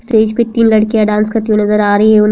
stage पे तीन लड़कीयां डांस करते हुए नजर आ रही है उन --